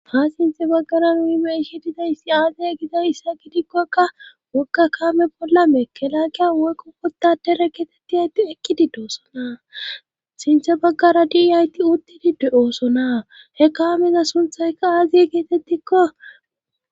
ha sinthe baggara nui be ishi didayssi aaziya gida issa gidikkokka wogga kaame bolla mekelakiya woykko wuttadere keetetti ayti ekkidi doosona sinthe baggara diiyayti uttidid oosona he kaameza sunthaykka aaziye geetettikko